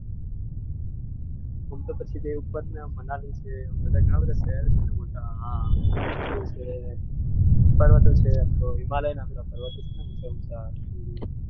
એમ તો પછી ઉત્તરમાં મનાલી છે ઘણા બધા શહેરો છે મોટા આ પર્વતો છે એમ તો હિમાલયના બધા પર્વાતીઓ છે ને ઊંચા ઊંચા .